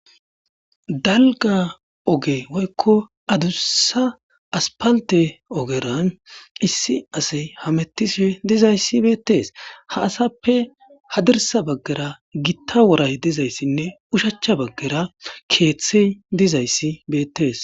dalga oge woykko adussa aspalte ogeran issi asay hamettishe dizayssi beettees ha asappe hadirsa baggera gitta woray dizayssinne ushachcha baggera keeththey dizayssi beettees